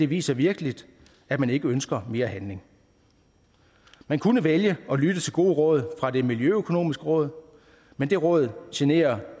viser virkelig at man ikke ønsker mere handling man kunne vælge at lytte til gode råd fra det miljøokonomiske råd men det råd generer